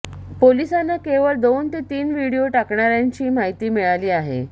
पोलिसांना केवळ दोन ते तीन व्हिडिओ टाकणाऱ्यांची माहिती मिळाली आहे